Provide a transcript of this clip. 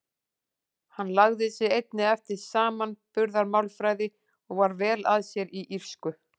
Hann lagði sig einnig eftir samanburðarmálfræði og var vel að sér í írsku.